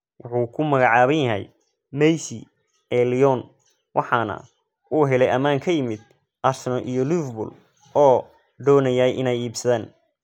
Wuxuu ku magacaaban yahay 'Messi ee Lyon,' waxaana uu helay ammaan ka yimid Arsenal iyo Liverpool oo doonayay inay iibsadaan.